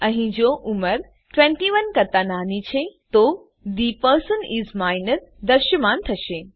અહીં જો ઉંમર ૨૧ કરતા નાની છે તો થે પર્સન ઇસ માઇનર દ્રશ્યમાન થશે